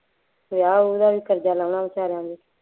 ਵਿਆਹ ਵਿਊਹ ਦਾ ਵੀ ਕਰਜ਼ਾ ਲਾਉਣਾ ਬੇਚਾਰਿਆਂ ਨੇ